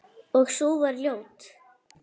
Og sú var ljót!